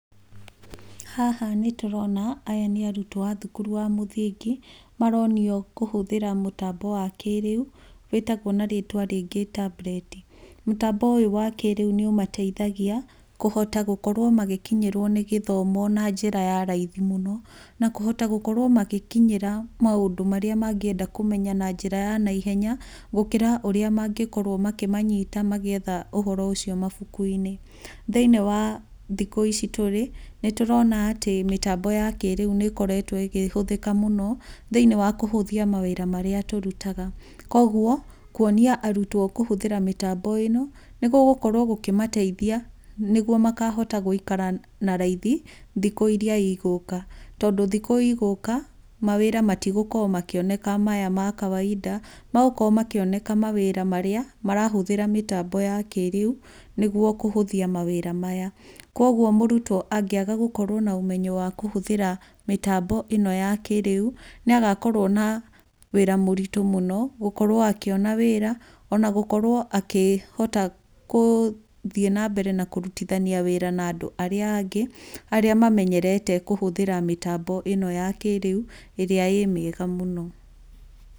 Haha nĩ tũrona aya nĩ arutwo a thukuru wa mũthingi, maronio kũhũthĩra mũtambo wa kĩrĩu, wĩtagwo na rĩtwa rĩngĩ tambureti. Mũtambo ũyũ wa kĩrĩu nĩ ũmateithagia kũhota gũkorwo magĩkinyĩrwo nĩ gĩthomo na njĩra ya raithi mũno na kũhota gũkorwo magĩkinyĩra maũndũ marĩa mangĩenda kũmenya na njĩra ya naihenya gũkĩra ũrĩa magĩkorwo makĩmanyita magĩetha ũhoro ũcio mabũku-inĩ. Thĩiniĩ wa thikũ ici tũrĩ, nĩ tũrona atĩ mĩtambo ya kĩrĩu nĩ ĩkoretwo ikĩhũthĩka mũno thĩiniĩ wa kũhũthia mawĩra marĩa tũrutaga. Koguo kuonia arutwo kũhũthĩra mĩtambo ĩno nĩ gũgũkorwo gũkĩmateithia nĩguo makahota gũikara na raithi thikũ iria igũka. Tondũ thikũ igũka, mawĩra matigũkorwo makĩoneka maya ma kawainda, magũkorwo makĩoneka mawĩra marĩa marahũthĩra mĩtambo ya kĩrĩu nĩguo kũhũthia mawĩra maya. Koguo mũrutwo angĩaga gũkorwo na ũmenyo wa kũhũthĩra mĩtambo ĩno ya kĩrĩu, nĩ agakorwo na wĩra mũritũ mũno gũkorwo akĩona wĩra, ona gũkorwo akĩhota gũthiĩ na mbere na kũrutithania wĩra na andũ arĩa angĩ, arĩ mamenyerete kũhũthĩra mĩtambo ĩno ya kĩrĩu ĩrĩa ĩ mĩega mũno.